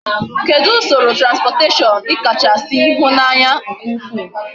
Kedu usoro transportation ikacha si hu na anya nke ukwu?